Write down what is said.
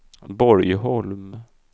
Borgholm